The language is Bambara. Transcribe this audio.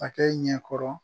A kɛ ɲɛkɔrɔ